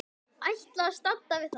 Ætlaði að standa við það.